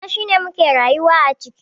Gida shine muke rayuwa a ciki.